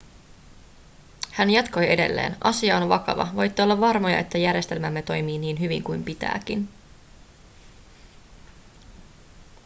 hän jatkoi edelleen asia on vakava voitte olla varmoja että järjestelmämme toimii niin hyvin kuin pitääkin